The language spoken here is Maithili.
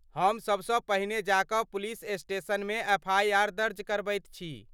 हम सबसँ पहिने जा कऽ पुलिस स्टेशनमे एफआईआर दर्ज करबैत छी।